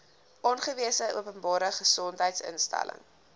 aangewese openbare gesondheidsinstelling